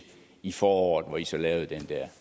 i foråret hvor i så lavede den der